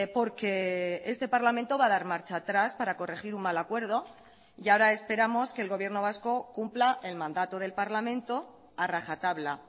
porque este parlamento va a dar marcha atrás para corregir un mal acuerdo y ahora esperamos que el gobierno vasco cumpla el mandato del parlamento a rajatabla